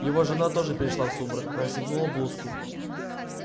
его жена тоже перешла в сумрак расстегнула блузку